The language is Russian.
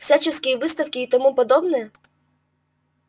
всякие выставки и тому подобное